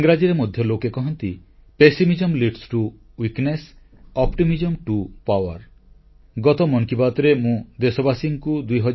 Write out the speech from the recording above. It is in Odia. ଇଂରାଜୀରେ ମଧ୍ୟ ଲୋକେ କହନ୍ତି pessimism leads to weakness optimism to power ଅର୍ଥାତ ନକାରାତ୍ମକତାରୁ ଦୁର୍ବଳତା ଆଶାରୁ ଉତ୍ସାହ ଓ ଶକ୍ତି